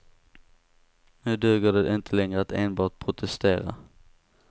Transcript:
Nu duger det inte längre att enbart protestera.